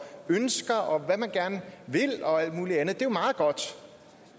ønsker og hvad man gerne vil og alt muligt andet er jo meget godt